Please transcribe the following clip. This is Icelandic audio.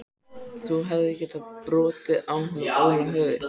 Þú hefðir getað brotið á honum Óla höfuðið.